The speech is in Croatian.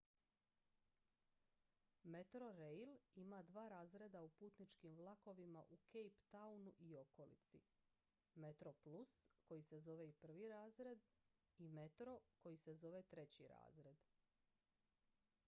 metrorail ima dva razreda u putničkim vlakovima u cape townu i okolici: metroplus koji se zove i prvi razred i metro koji se zove treći razred